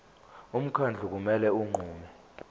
umkhandlu kumele unqume